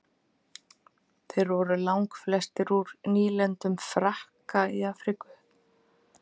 þeir voru langflestir úr nýlendum frakka í afríku